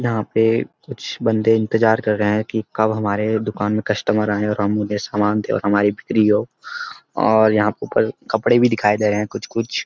यहाँ पे कुछ बंदे इंतजार कर रहे हैं कि कब हमारे दुकान में कस्‍टमर आएं और हम उन्हें सामान दें और हमारी बिक्री हो और यहाँ पे पर कपड़े भी दिखाए गए हैं कुछ-कुछ।